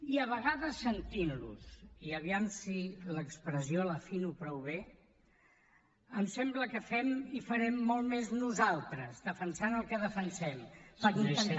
i a vegades sentint los i aviam si l’expressió l’afino prou bé em sembla que fem i farem molt més nosaltres defensant el que defensem per intentar